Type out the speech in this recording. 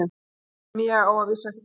Sem ég á að vísu ekki til.